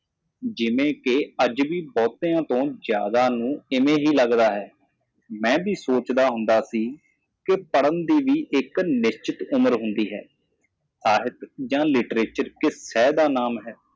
ਬਹੁਤ ਸਾਰੇ ਅੱਜ ਵੀ ਇਸੇ ਤਰ੍ਹਾਂ ਮਹਿਸੂਸ ਕਰਦੇ ਹਨ ਮੈਂ ਸੋਚਦਾ ਸੀ ਪੜ੍ਹਨ ਦੀ ਵੀ ਇੱਕ ਖਾਸ ਉਮਰ ਹੁੰਦੀ ਹੈ ਸਹਿਤ ਜਾਂ ਸਾਹਿਤ ਵਿਸ਼ੇ ਦਾ ਨਾਮ ਹੈ